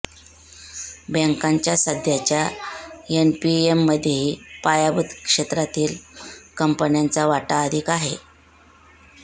बँकांच्या सध्याच्या एनपीएमध्येही पायाभूत क्षेत्रातील कंपन्यांचा वाटा अधिक आहे